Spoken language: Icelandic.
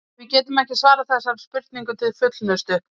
Við getum ekki svarað þessari spurningu til fullnustu.